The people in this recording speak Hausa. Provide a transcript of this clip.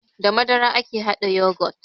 Da madara ake haɗa yagot